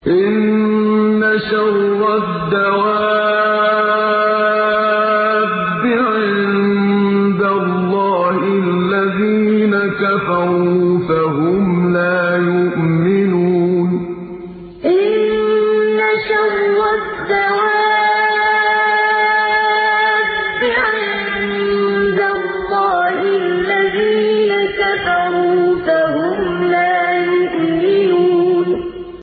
إِنَّ شَرَّ الدَّوَابِّ عِندَ اللَّهِ الَّذِينَ كَفَرُوا فَهُمْ لَا يُؤْمِنُونَ إِنَّ شَرَّ الدَّوَابِّ عِندَ اللَّهِ الَّذِينَ كَفَرُوا فَهُمْ لَا يُؤْمِنُونَ